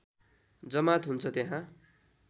जमात हुन्छ त्यहाँ